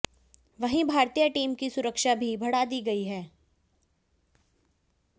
वहीं भारतीय टीम की सुरक्षा भी बढ़ा दी गई है